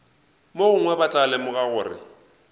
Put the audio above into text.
mogongwe ba tla lemoga gore